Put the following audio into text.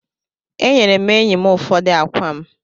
E nyere m enyi m ụfọdụ akwa m.